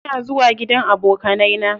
Ina zuwa gidan abokanai na.